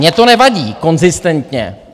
Mně to nevadí konzistentně.